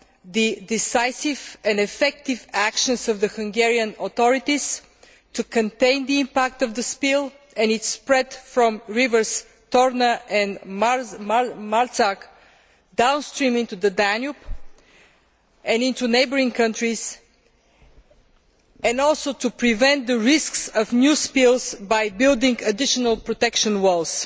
the decisive and effective actions of the Hungarian authorities to contain the impact of the spill and its spread from the rivers Torna and Marcal downstream into the Danube and into neighbouring countries, and also to prevent the risks of new spills by building additional protection walls.